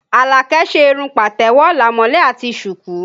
Alake ṣe irun patewo, lamole àti suku